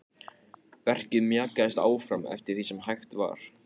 Verkið mjakaðist áfram eftir því sem hægt var.